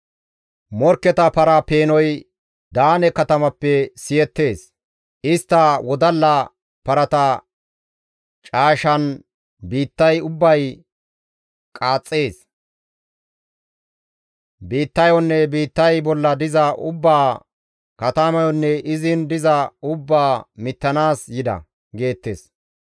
Morkketa para peenoy Daane katamappe siyettees; istta wodalla parata caashan biittay ubbay qaaxxees; biittayonne biittay bolla diza ubbaa, katamayonne izin diza ubbaa mittanaas yida» geettes.